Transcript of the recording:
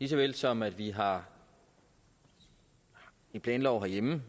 såvel som at vi har en planlov herhjemme